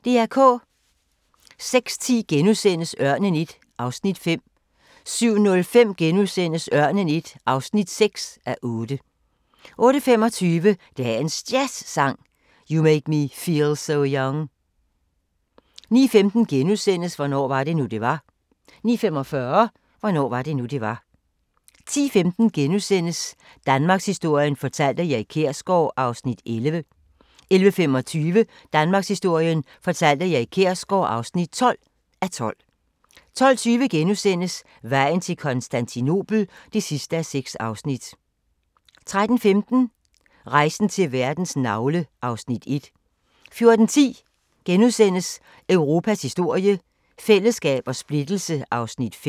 06:10: Ørnen I (5:8)* 07:05: Ørnen I (6:8)* 08:25: Dagens Jazzsang: You Make Me Feel So Young 09:15: Hvornår var det nu det var * 09:45: Hvornår var det nu det var 10:15: Danmarkshistorien fortalt af Erik Kjersgaard (11:12)* 11:25: Danmarkshistorien fortalt af Erik Kjersgaard (12:12) 12:20: Vejen til Konstantinopel (6:6)* 13:15: Rejsen til verdens navle (Afs. 1) 14:10: Europas historie – fællesskab og splittelse (5:6)*